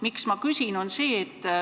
Miks ma seda küsin?